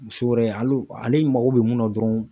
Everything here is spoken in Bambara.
Muso yɛrɛ hali ale mago bɛ mun na dɔrɔn